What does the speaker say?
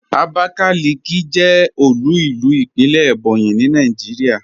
Abakaliki jẹ́ òlu ilú ìpínlẹ̀ Ebonyi ní Nàìjíríà.